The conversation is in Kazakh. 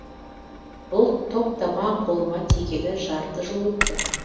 бұл топтама қолыма тигелі жарты жыл өтті